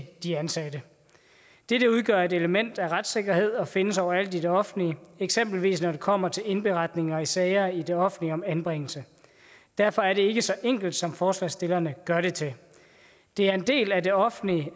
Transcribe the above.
de ansatte dette udgør et element af retssikkerhed og findes overalt i det offentlige eksempelvis når det kommer til indberetninger i sager i det offentlige om anbringelse derfor er det ikke så enkelt som forslagsstillerne gør det til det er en del af det offentlige